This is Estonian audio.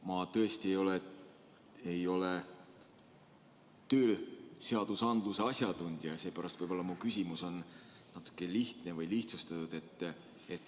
Ma tõesti ei ole tööseadusandluse asjatundja ja seepärast võib mu küsimus olla natuke lihtne või lihtsustatud.